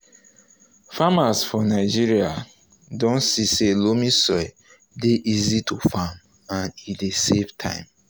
farmers for nigeria don see say loamy soil dey easy to farm and e dey save time.